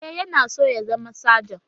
E, yana so ya zama sajan.